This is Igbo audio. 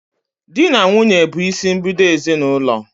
Di na nwunye bụ isimbido ezinaụlọ